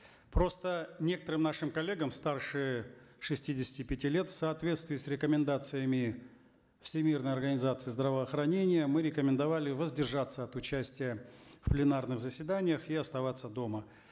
просто некоторым нашим коллегам старше шестидесяти пяти лет в соответствии с рекомендациями всемирной организации здравоохранения мы рекомендовали воздержаться от участия в пленарных заседаниях и оставаться дома